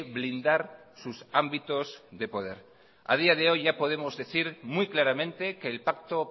blindar sus ámbitos de poder a día de hoy ya podemos decir muy claramente que el pacto